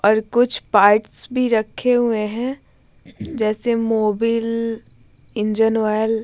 और कुछ पार्ट्स भी रखे हुए हैं जैसे मोबिल इंजन आयल ।